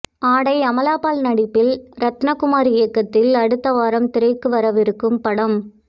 ஆடை அமலா பால் நடிப்பில் ரத்னகுமார் இயக்கத்தில் அடுத்த வாரம் திரைக்கு வரவிருக்கும் படம்